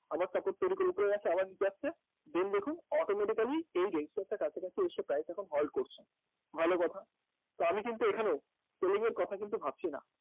আবার support তৈরি করে উপরে আসছে আবার নীচে যাচ্ছে then দেখুন automatically এই resistor টার কাছাকাছি এসে প্রায়ই দেখুন halt করছে ভালো কথা তো আমি কিন্তু এখানে selling এর কথা কিন্তু ভাবছি না